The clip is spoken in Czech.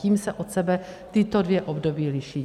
Tím se od sebe tato dvě období liší.